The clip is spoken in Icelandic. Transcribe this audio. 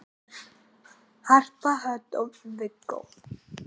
Börn: Harpa Hödd og Viggó.